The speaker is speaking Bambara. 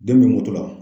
Den bɛ moto la